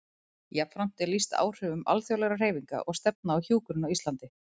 Jafnframt er lýst áhrifum alþjóðlegra hreyfinga og stefna á hjúkrun á Íslandi.